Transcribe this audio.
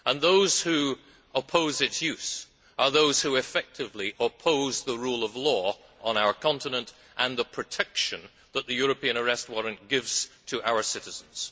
Those who oppose its use are those who, effectively, oppose the rule of law on our continent and the protection that the European Arrest Warrant gives to our citizens.